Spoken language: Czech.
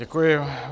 Děkuji.